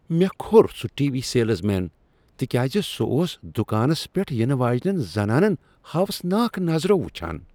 مےٚ کھوٚر سُہ ٹی وی سیلزمین تِکیازِ سُہ اوس دکانس پیٚٹھ ینہٕ واجنین زنانن پیٹھ ہاوسناک نظرو وچھان۔